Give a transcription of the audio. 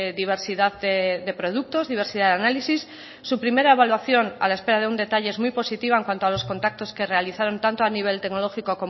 diversidad de productos diversidad de análisis su primera evaluación a la espera de un detalle es muy positiva en cuanto a los contactos que realizaron tanto a nivel tecnológico